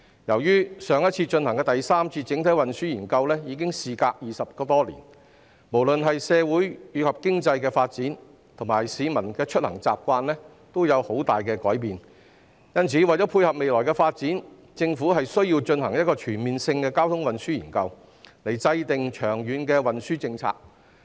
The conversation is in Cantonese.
由於上次進行第三次整體運輸研究已經事隔20多年，不論是社會及經濟發展，以及市民的出行習慣均有很大改變，因此，為了配合未來發展，政府需要進行一項全面的交通運輸研究，從而制訂長遠運輸政策。